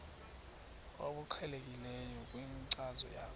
obuqhelekileyo kwinkcazo yakho